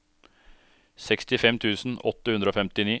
sekstifem tusen åtte hundre og femtini